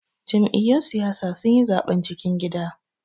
Jam'iyyun siyasa sun yi zaben cikin gida.